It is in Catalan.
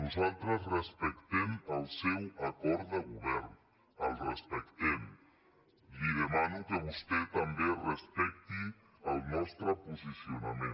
nosaltres respectem el seu acord de govern el respectem li demano que vostè també respecti el nostre posicionament